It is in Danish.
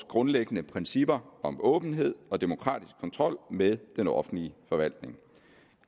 grundlæggende principper om åbenhed og demokratisk kontrol med den offentlige forvaltning